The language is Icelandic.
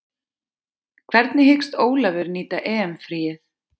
Hvernig hyggst Ólafur nýta EM fríið?